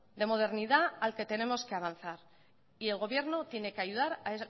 de modernidad al que tenemos que avanzar y el gobierno tiene que ayudar a